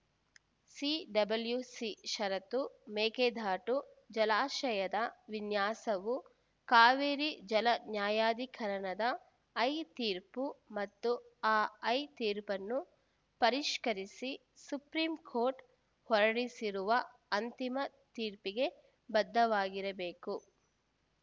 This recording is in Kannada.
ಸಿಡಬ್ಲ್ಯುಸಿ ಷರತ್ತು ಮೇಕೆದಾಟು ಜಲಾಶಯದ ವಿನ್ಯಾಸವು ಕಾವೇರಿ ಜಲ ನ್ಯಾಯಾಧಿಕರಣದ ಐ ತೀರ್ಪು ಮತ್ತು ಆ ಐ ತೀರ್ಪನ್ನು ಪರಿಷ್ಕರಿಸಿ ಸುಪ್ರೀಂ ಕೋರ್ಟ್‌ ಹೊರಡಿಸಿರುವ ಅಂತಿಮ ತೀರ್ಪಿಗೆ ಬದ್ಧವಾಗಿರಬೇಕು